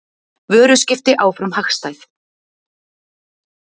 Vöruskipti áfram hagstæð